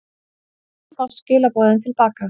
Með þessu fást skilaboðin til baka.